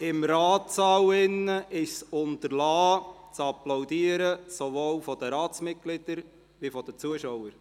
Im Ratssaal ist es zu unterlassen, zu applaudieren, sowohl von den Ratsmitgliedern als auch von den Zuschauern.